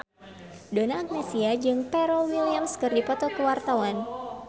Donna Agnesia jeung Pharrell Williams keur dipoto ku wartawan